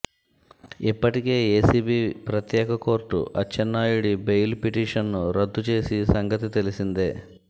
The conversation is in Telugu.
ఇప్పటికే ఏసీబీ ప్రత్యేక కోర్టు అచ్చెన్నాయుడి బెయిల్ పిటిషన్ను రద్దు చేసి సంగతి తెలిసిందే